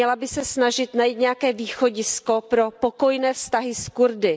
Měla by se snažit najít nějaké východisko pro pokojné vztahy s Kurdy.